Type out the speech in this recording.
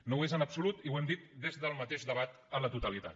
no ho és en absolut i ho hem dit des del mateix debat a la totalitat